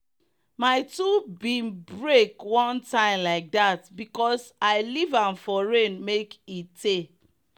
my tool bin break one time like that because i leave am for rain make e tey.